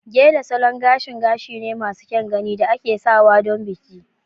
Gele Salon gashin gashi ne masu kyan gani da ake sawa don bikin